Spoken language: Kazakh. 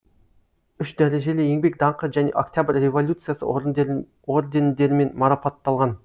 үш дәрежелі еңбек даңқы және октябрь революциясы ордендерімен марапатталған